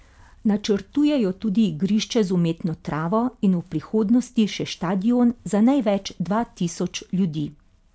Načrtujejo tudi igrišče z umetno travo in v prihodnosti še štadion za največ dva tisoč ljudi.